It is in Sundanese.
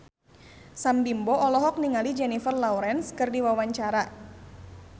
Sam Bimbo olohok ningali Jennifer Lawrence keur diwawancara